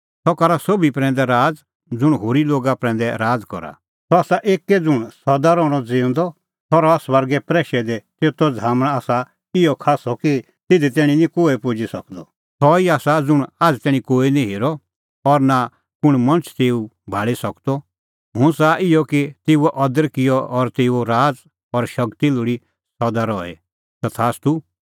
सह आसा एक्कै ज़ुंण सदा रहणअ ज़िऊंदअ सह रहा स्वर्गै प्रैशै दी तेतो झ़ामण आसा इहअ खास्सअ कि तिधी तैणीं निं कोहै पुजी सकदअ सह ई आसा ज़ुंण आझ़ तैणीं कोही निं हेरअ और नां कुंण मणछ तेऊ भाल़ी सकदअ हुंह च़ाहा इहअ कि तेऊओ अदर किअ और तेऊओ राज़ और शगती लोल़ी सदा रही तथास्तू